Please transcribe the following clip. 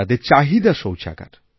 তাদের চাহিদা শৌচাগার